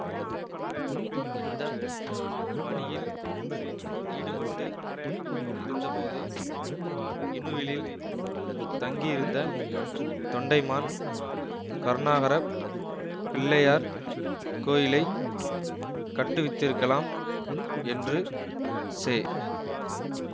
இந்த பணியில் ஈடுபட்டு இருந்தபோது இணுவிலில் தங்கியிருந்த தொண்டைமான் கருணாகரப் பிள்ளையார் கோயிலை கட்டுவித்திருக்கலாம் என்று செ